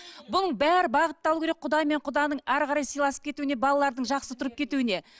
бұның бәрі бағытталу керек құда мен құданың әрі қарай сыйласып кетуіне балалардың жақсы тұрып кетуіне